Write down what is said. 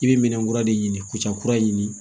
I bɛ minɛn kura de ɲini k'ucɛ kura ɲini